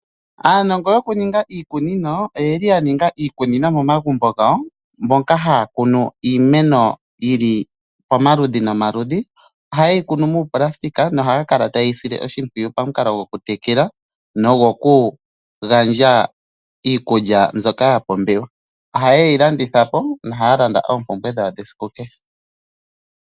Aanongo yokuninga iikunino, oyeli yaninga iikunino momagumbo gawo, moka haya kunu iimeno yomaludhi nomaludhi, ohayeyi kunu miifwagafwaga na ohaya kala tayeyi sile oshimpwiyu momukalo gwokutekela, nogwoku gandja iikulya mbyoka ya pumbiwa. Ohayeyi landithapo nokulanda oompumbwe dhawo dhesiku kehe.